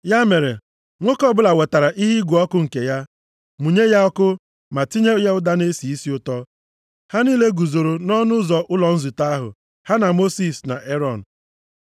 Ya mere, nwoke ọbụla wetara ihe ịgụ ọkụ nke ya, mụnye ya ọkụ, ma tinye ya ụda na-esi isi ụtọ. Ha niile guzoro nʼọnụ ụzọ ụlọ nzute ahụ, ha na Mosis na Erọn.